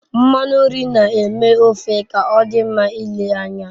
Nmanu nri n'eme ofe k'odi nma ile anya